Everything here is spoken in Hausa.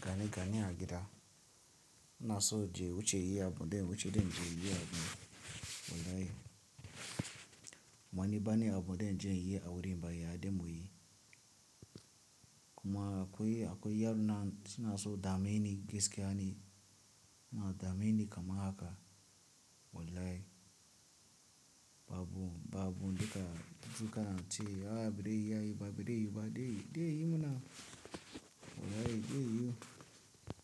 gane, gane a gida. Muna so je wuce yi abu don wuce don je yi abu, wallahi. Muni bani abu don jan yi a wurin ba, ya da muyi. Kuma akwai, akwai yaran nan suna so dameni gaskiya ne. Suna dameni kamar haka, wallahi. Ba abu, ba abu, daga dukan ce ya barai iyayi ba, barayi ba dai, dai yi muna, wallahi dai yi.